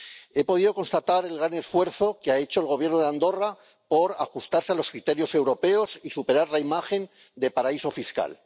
He podido constatar el gran esfuerzo que ha hecho el Gobierno de Andorra para ajustarse a los criterios europeos y superar la imagen de paraíso fiscal.